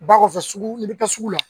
Ba kɔfɛ sugu n'i bɛ taa sugu la